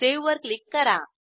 save वर click करा